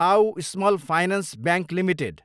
आउ small finance bank Ltd